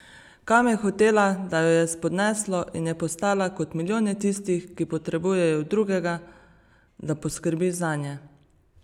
Kam je hotela, da jo je spodneslo in je postala kot milijone tistih, ki potrebujejo drugega, da poskrbi zanje?